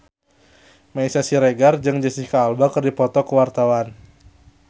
Meisya Siregar jeung Jesicca Alba keur dipoto ku wartawan